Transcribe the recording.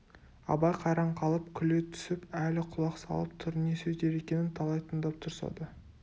абай қайран қалып күле түсіп әлі құлақ салып тұр не сөздер екенін талай тыңдап тұрса да